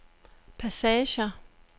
passager